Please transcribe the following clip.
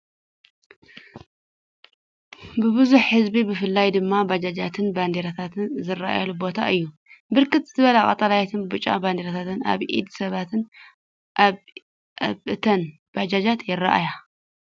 ብብዝሒ ህዝቢ ብፍላይ ድማ ባጃጃትን ባንዴራታትን ዝረኣየሉ ቦታ እዩ። ብርክት ዝበለ ቀጠልያን ብጫን ባንዴራታት ኣብ ኢድ ሰባትን ኣብ እተን ባጃጃት ይረኣያ።